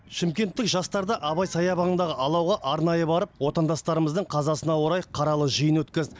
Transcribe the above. шымкенттік жастар да абай саябағындағы алауға арнайы барып отандастарымыздың қазасына орай қаралы жиын өткізді